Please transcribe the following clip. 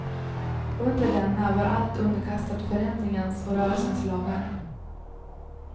Under denna var allt underkastat förändringens och rörelsens lagar.